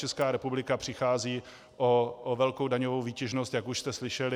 Česká republika přichází o velkou daňovou výtěžnost, jak už jste slyšeli.